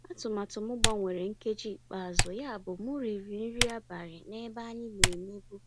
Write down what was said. Àtụ̀màtụ́ m gbanwèrà nkèjí íkpe àzụ́, yábụ́ m rị́rị́ nrí àbálị́ n'èbé ànyị́ ná-èmèbú.